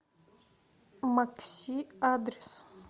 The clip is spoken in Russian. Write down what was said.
макси адрес